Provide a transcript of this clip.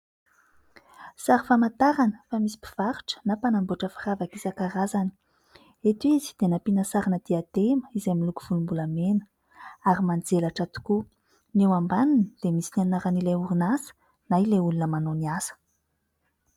Sary famantarana fa misy mpivarotra na mpanamboatra firavaka isan-karazany. Eto izy dia nampiana sarina diadema izay miloko volom-bolamena ary manjelatra tokoa ; ny eo ambaniny dia misy ny anaran'ilay orinasa na ilay olona manao ny asa.